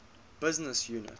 business unit